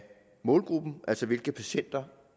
målgruppen altså hvilke patienter